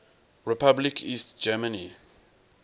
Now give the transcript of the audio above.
republic east germany